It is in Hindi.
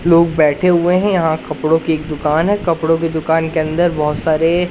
लोग बैठे हुए हैं यहां कपड़ों की एक दुकान है कपड़ों की दुकान के अंदर बहुत सारे--